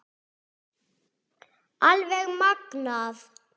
Alveg magnað!